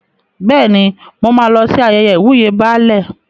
Bẹ́ẹ̀ni, mo máa lọ sí ayẹyẹ ìwúyè Baálẹ̀.